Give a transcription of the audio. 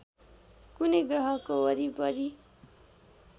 कुनै ग्रहको वरिपरि